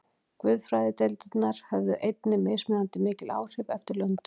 Guðfræðideildirnar höfðu einnig mismunandi mikil áhrif eftir löndum.